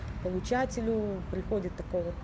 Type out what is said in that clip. получателю приходит такое вот